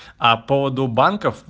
а по поводу банков